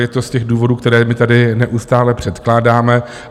Je to z těch důvodů, které my tady neustále předkládáme.